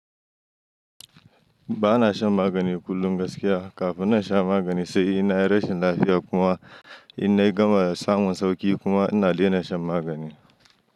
Ba na shan magani kullum gaskiya, kafin na sha magani sai ina yi rashin lafiya kuma ina gama samun sauƙi kuma ina lige na shan magani.